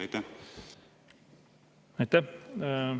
Aitäh!